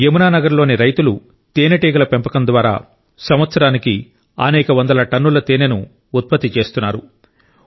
యమునా నగర్ లో రైతులు తేనెటీగ పెంపకం ద్వారా సంవత్సరానికి అనేక వందల టన్నుల తేనెను ఉత్పత్తి చేస్తున్నారు